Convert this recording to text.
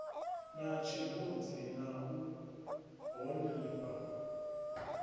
na tshirunzi na u honifha